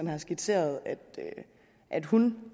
har skitseret at hun